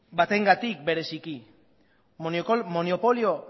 batengatik bereziki monopolio